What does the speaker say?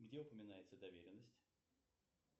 где упоминается доверенность